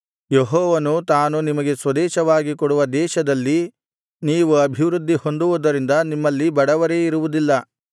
ಯೆಹೋವನು ತಾನು ನಿಮಗೆ ಸ್ವದೇಶವಾಗಿ ಕೊಡುವ ದೇಶದಲ್ಲಿ ನೀವು ಅಭಿವೃದ್ಧಿ ಹೊಂದುವುದರಿಂದ ನಿಮ್ಮಲ್ಲಿ ಬಡವರೇ ಇರುವುದಿಲ್ಲ